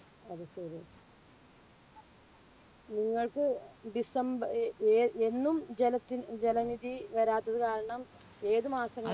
അത് ശരി. നിങ്ങൾക്ക് december ഏർ ഏ എന്നും ജല ജലനിധി വരാത്തത് കാരണം ഏതു മാസങ്ങളിലാണ്